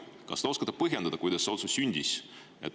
Kas te oskate põhjendada, kuidas see otsus sündis?